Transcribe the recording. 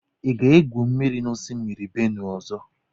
Ị ga-egwu mmiri na osimiri Benue ọzọ?